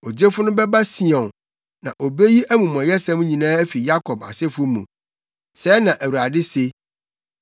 “Ogyefo no bɛba Sion, na obeyi amumɔyɛsɛm nyinaa afi Yakob asefo mu,” sɛɛ na Awurade se.